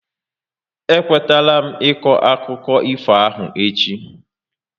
E kwetala m iko akụkọ ifo ahụ echi